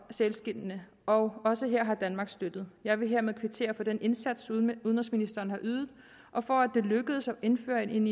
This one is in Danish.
sælskindene og også her har danmark støttet jeg vil hermed kvittere for den indsats udenrigsministeren har ydet og for at det lykkedes at indføre en